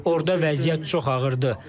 Orda vəziyyət çox ağırdır.